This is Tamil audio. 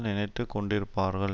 நினைத்து கொண்டிருப்பார்கள்